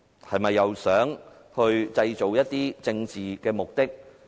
是否又想藉此製造一些政治事件？